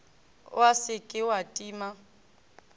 wa se ke wa tima